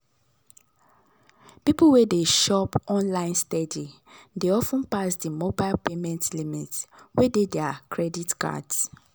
people wey dey shop online steady dey of ten pass di mobile payment limits wey dey dir credit cards